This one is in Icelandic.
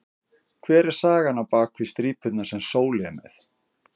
Hver er sagan á bak við strípurnar sem Sóli er með?